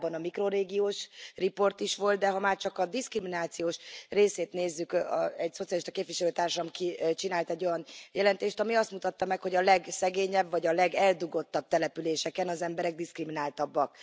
Korábban a mikrorégiós riport is volt, de ha már csak a diszkriminációs részét nézzük egy szocialista képviselő társam csinált egy olyan jelentést, ami azt mutatta meg, hogy a legszegényebb vagy a legeldugottabb településeken az emberek diszkrimináltabbak.